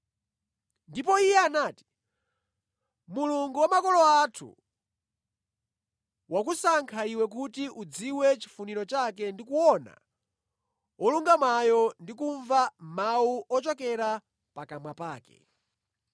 “Ndipo iye anati, ‘Mulungu wa makolo athu wakusankha iwe kuti udziwe chifuniro chake ndi kuona Wolungamayo ndi kumva mawu ochokera pakamwa pake.